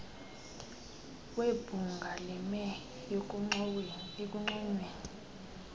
webhunga lime ekunconyweni